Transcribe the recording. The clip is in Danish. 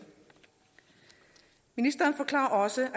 ministeren forklarer også